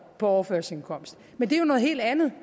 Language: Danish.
på overførselsindkomst men det er jo noget helt andet